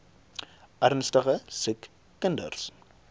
ernstige siek kinders